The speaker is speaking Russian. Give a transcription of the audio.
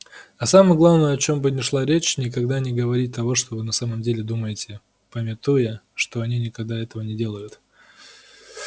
а самое главное о чём бы ни шла речь никогда не говорить того что вы на самом деле думаете памятуя что и они никогда этого не делают